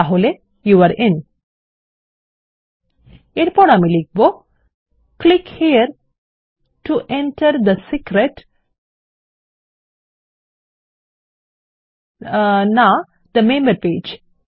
তাহলে your in এরপর আমি লিখব click here to enter the secret না থে মেম্বার পেজ